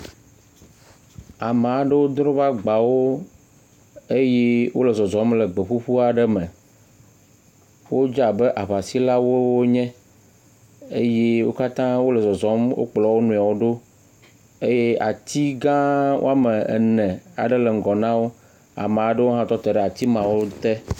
Ame aɖewo dro woƒe agbawo eye wole zɔzɔm le gbe ƒuƒu aɖe me. Wodze abe aŋasilawoe wonye eye wo katã wole zɔzɔm wo kplɔ wo nɔewo ɖo eye ati gã woame ene aɖe le ŋgɔ na wo ame aɖewo tɔ te ɖe ati mawo te